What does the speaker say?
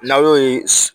N'aw y'o ye